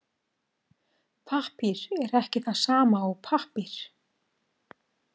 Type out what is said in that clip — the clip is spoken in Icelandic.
Pappír er ekki það sama og pappír.